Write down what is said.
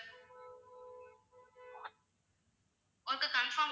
ஒருக்கா confirm